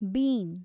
bean